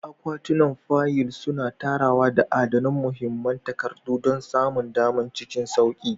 Akwatunan fayil suna tsarawa da adana muhimman takardu don samun dama cikin sauƙi.